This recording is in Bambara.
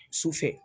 Su fɛ